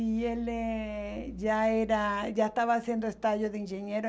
E ele já era já estava fazendo estágio de engenheiro.